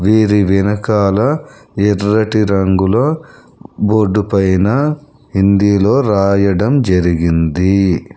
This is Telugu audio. వీరి వెనకాల ఎర్రటి రంగులో బోర్డుపైన హిందీలో రాయడం జరిగింది.